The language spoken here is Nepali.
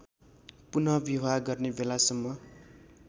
पुनःविवाह मर्ने बेलासम्म